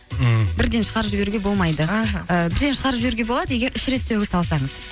мхм бірден шығарып жіберуге болмайды іхі і бірден шығарып жіберуге болады егер үш рет сөгіс алсаңыз